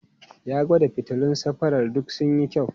Ya gwada fitilun safarar duk sun yi kyau.